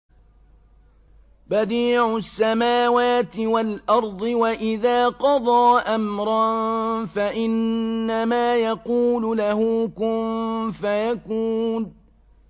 بَدِيعُ السَّمَاوَاتِ وَالْأَرْضِ ۖ وَإِذَا قَضَىٰ أَمْرًا فَإِنَّمَا يَقُولُ لَهُ كُن فَيَكُونُ